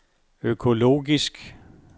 økologisk